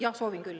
Jah, soovin küll.